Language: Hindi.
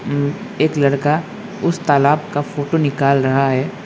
एक लड़का उस तालाब का फोटो निकाल रहा है।